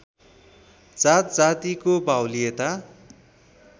जात जातिको बाहुल्यता